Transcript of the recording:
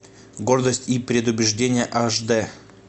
гордость и предубеждение аш дэ